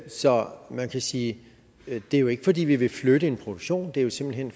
så man kan sige at det jo ikke er fordi vi vil flytte en produktion det er simpelt hen